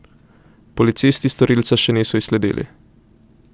Policisti storilca še niso izsledili.